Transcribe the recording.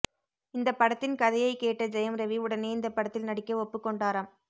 இந்த படத்தின் கதையை கேட்ட ஜெயம் ரவி உடனே இந்த படத்தில் நடிக்க ஒப்புக்கொண்டாராம்